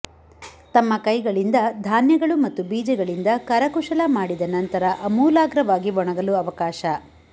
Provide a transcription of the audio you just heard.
ತಮ್ಮ ಕೈಗಳಿಂದ ಧಾನ್ಯಗಳು ಮತ್ತು ಬೀಜಗಳಿಂದ ಕರಕುಶಲ ಮಾಡಿದ ನಂತರ ಆಮೂಲಾಗ್ರವಾಗಿ ಒಣಗಲು ಅವಕಾಶ